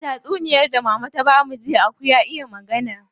A tatsuniyar da mama ta bamu jiya, aku ya iya magana.